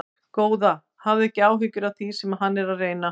Góða, hafðu ekki áhyggjur af því sem hann er að reyna.